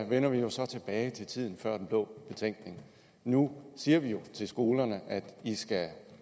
vender vi jo så tilbage til tiden før den blå betænkning nu siger vi jo til skolerne at de skal